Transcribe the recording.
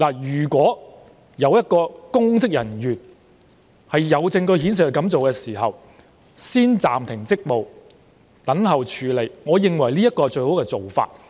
如果有證據顯示一名公職人員曾經這樣做，先暫停其職務再等候處理，我認為是最好的做法。